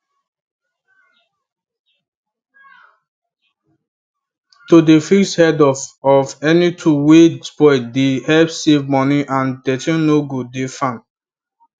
to dey fix head of of any tool wey spoil dey help save moni and dirty no go dey farm